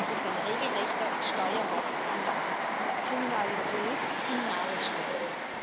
Es ist ein regelrechter Steuerraubskandal, Kriminalität in Nadelstreifen.